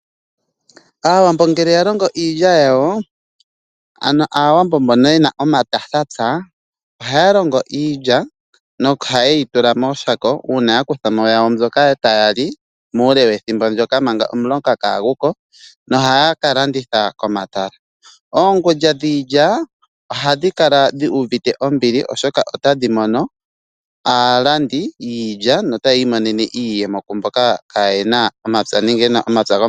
Aawambo ngele ya longo iilya yawo, ano Aawambo mbono ye na omathatapya, ohaya longo iilya nohaye yi tula mooshako uuna ya kutha mo yawo mbyoka taya li muule wethimbo ndyoka manga omuloka kaagu ko nohaya ka landitha komatala. Oongulya dhiilya ohadhi kala dhu uvite ombili, oshoka otadhi mono aalandi yiilya notaya imonene iiyemo kumboka kaaye na omapya.